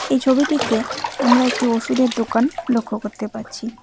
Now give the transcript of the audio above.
এই ছবিটিতে আমরা একটি ওষুধের দোকান লক্ষ্য কত্তে পাচ্ছি।